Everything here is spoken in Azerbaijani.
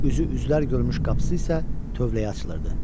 Üzü üzlər görmüş qapısı isə tövləyə açılırdı.